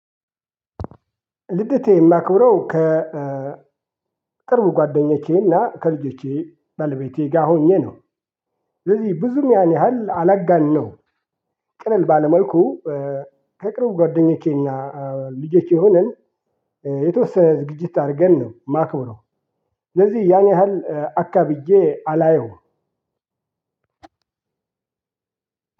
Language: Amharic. ልደት እማክብረው ከ ቅርብ ጓደኞቼና ከልጆቼ ባለቤቴ ጋር ሆኜ ነው። ስለዚህ ብዙም ያን ያህል አላጋንነውም። ቅለል ባለ መልኩ ከቅርብ ጓደኞቼና ልጄች ሆነን የተወሰነ ዝግጅት አረገን ነው። እማክበረው ስለዚህ ያን ያህል አካብጄ አላየውም።